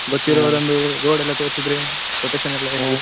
road ಎಲ್ಲಾ ತೋರಿಸಿದ್ರೆ protection ಎಲ್ಲಾ